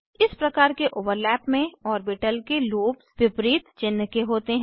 इस प्रकार के ओवरलैप में ऑर्बिटल के लोब्स विपरीत चिन्ह के होते हैं